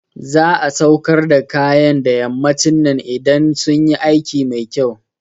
Za'a sauƙar da kayan da yammacin nan idan sunyi aiki mai kyau